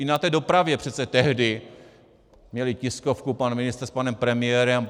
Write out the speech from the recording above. I na té dopravě přece tehdy měli tiskovku pan ministr s panem premiérem.